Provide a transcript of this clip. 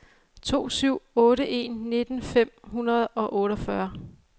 to syv otte en nitten fem hundrede og otteogfyrre